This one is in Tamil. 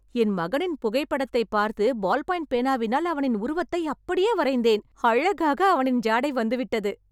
என் மகனின் புகைப்படத்தைப் பார்த்து, பால் பாயின்ட் பேனாவினால் அவனின் உருவத்தை அப்படியே வரைந்தேன். அழகாக அவனின் ஜாடை வந்துவிட்டது.